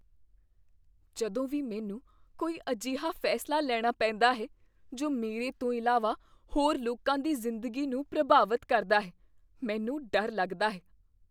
ਜਦੋਂ ਵੀ ਮੈਨੂੰ ਕੋਈ ਅਜਿਹਾ ਫੈਸਲਾ ਲੈਣਾ ਪੈਂਦਾ ਹੈ ਜੋ ਮੇਰੇ ਤੋਂ ਇਲਾਵਾ ਹੋਰ ਲੋਕਾਂ ਦੀ ਜ਼ਿੰਦਗੀ ਨੂੰ ਪ੍ਰਭਾਵਤ ਕਰਦਾ ਹੈ, ਮੈਨੂੰ ਡਰ ਲੱਗਦਾ ਹੈ।